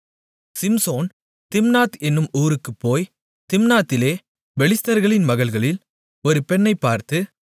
Samson Timnath என்னும் ஊருக்கு போய் திம்னாத்திலே பெலிஸ்தர்களின் மகள்களில் ஒரு பெண்ணைப் பார்த்து